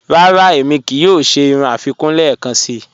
Rárá, émi kíí yòò ṣẹ̀ irú afikún lẹ́ẹ̀kànṣí.